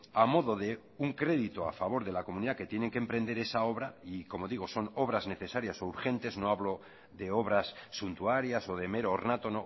a modo de un crédito a favor de la comunidad que tienen que emprender esa obra y como digo son obras necesarias o urgentes no hablo de obras suntuarias o de mero ornato